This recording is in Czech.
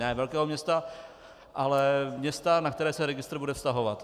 ne velkého města, ale města, na které se registr bude vztahovat.